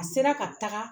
A sera ka taga